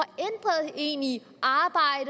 en i i